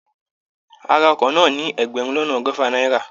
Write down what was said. A ra ọkọ̀ náà ní ẹgbẹ̀rún lọ́nà ọgọ́fà náírà